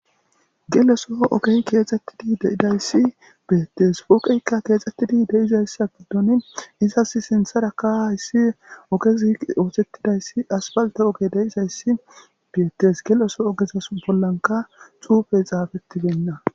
Geleso ogey keexxettidi de'idayssi beyettes pooqeykka keexxettidi deizayssa giddon isas sintharaka hayssi oge zii oothettidayssi asbalte ogey deizhayssi biyettes geleso ogezas bollanka cuufe xaafetti benna